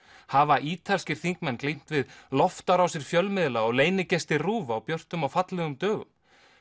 hafa ítalskir þingmenn glímt við loftárásir fjölmiðla og RÚV á björtum og fallegum dögum